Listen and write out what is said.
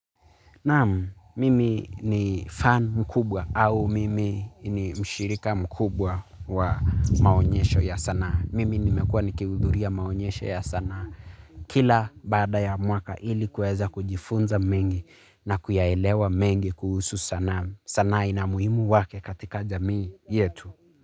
Naam, mimi ni fan mkubwa au mimi ni mshirika mkubwa wa maonyesho ya sanaa. Mimi nimekuwa nikihudhuria maonyesho ya sanaa. Kila baada ya mwaka ili kuweza kujifunza mengi na kuyaelewa mengi kuhusu sanaa. Sanaa ina muhimu wake katika jamii yetu.